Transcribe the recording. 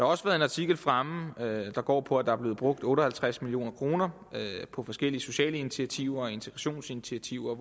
også været en artikel fremme der går på at der er blevet brugt otte og halvtreds million kroner på forskellige sociale initiativer og integrationsinitiativer